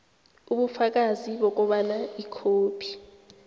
ubufakazi bokobana ikhophi